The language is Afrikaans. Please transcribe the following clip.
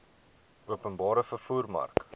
openbare vervoer mark